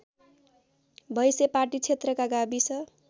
भैंसेपाटी क्षेत्रका गाविस